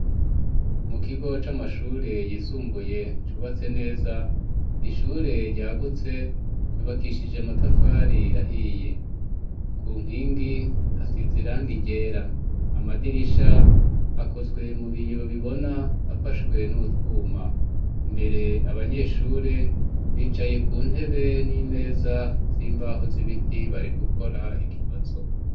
Mu kigo c'amashure yisumbuye cubatse neza, ishure ryagutse ryubakishije amatafari ahiye.ku nkingi hasize irangi ryera amadirisha akozwe mu biyo bibona afashwe n'utwuma, imbere abanyeshure bicaye ku ntebe n'imeza z'imbaho z'ibiti bari gukora ikibazo.